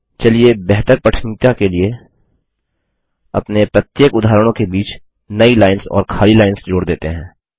चलिए बेहतर पठनीयता के लिए अपने प्रत्येक उदाहरणों के बीच नई लाइन्स और खाली लाइन्स जोड़ देते हैं